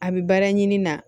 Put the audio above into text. A bi baara ɲini na